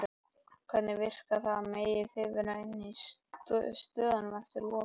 Hvernig virkar það, megið þið vera inni á stöðunum eftir lokun?